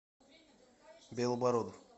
белобородов